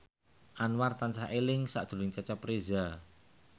Anwar tansah eling sakjroning Cecep Reza